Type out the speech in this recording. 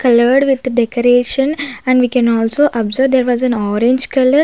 colored with decoration and we can also observe there was in orange color.